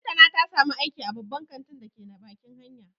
Lantana ta samu aiki a babban kantin da ke bakin hanya